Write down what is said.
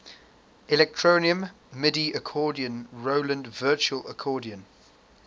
electronium midi accordion roland virtual accordion